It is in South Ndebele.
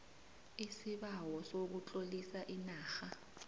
isibawo sokutlolisa inarha